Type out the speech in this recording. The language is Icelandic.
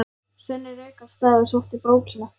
Svenni rauk af stað og sótti brókina.